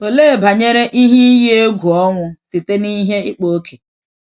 Olee banyere ihe iyi egwu ọnwụ site n’ihe ịkpa ókè?